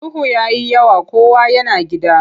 Duhu ya yi yawa kowa yana gida.